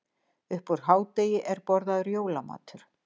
Upp úr hádegi er borðaður jólamatur.